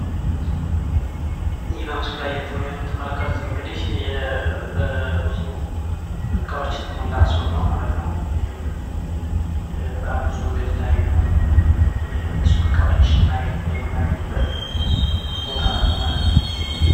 ይህ በምስሉ ላይ የምትመለከቱት እንግዲህ በብዙ እቃዎች የተሞላ ሱቅ ነው ማለት ነው። ይህም በጣም ብዙ የተለያዩ የሱቅ እቃዎችን የምናገኝበት ቦታ ነው ማለት ነው።